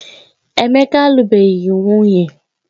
Emeka alubeghị nwunye